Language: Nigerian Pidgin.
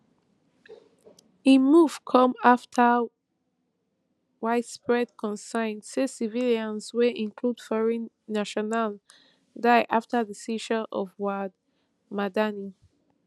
im move come afta widespread concern say civilians wey include foreign nationals die afta di seizure of wad madani